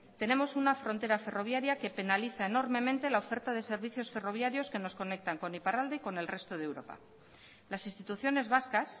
tenemos una frontera ferroviaria que penaliza enormemente la oferta de servicios ferroviarios que nos conectan con iparralde y con el resto de europa las instituciones vascas